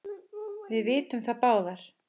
Við vitum það báðar.